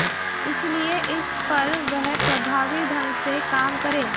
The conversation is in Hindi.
इसलिए इस पर वह प्रभावी ढंग से काम करे